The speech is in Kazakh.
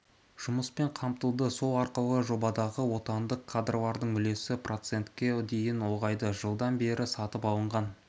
жұмыспен қамтылды сол арқылы жобадағы отандық кадрлардың үлесі процентке дейін ұлғайды жылдан бері сатып алынған